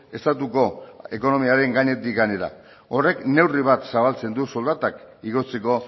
estatuko ekonomiaren gainetik gainera horrek neurri bat zabaltzen du soldatak igotzeko